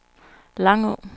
Langå